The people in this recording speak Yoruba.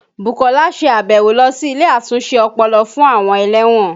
Bukola ṣe àbẹ̀wò lọ sí ilé àtúnṣe ọpọlọ fún àwọn ẹlẹ́wọ̀n